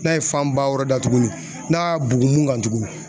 N'a' ye fanba wɛrɛ da tuguni n'a y'a bugun min kan tuguni